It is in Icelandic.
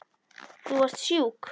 Þú varst sjúk.